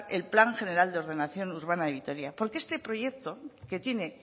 el plan general de ordenación urbana de vitoria porque este proyecto que tiene